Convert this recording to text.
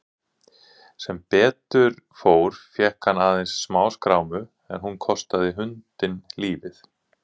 Sem betur fór fékk hann aðeins smáskrámu en hún kostaði hundinn lífið.